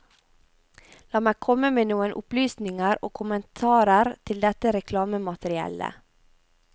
La meg komme med noen opplysninger og kommentarer til dette reklamemateriellet.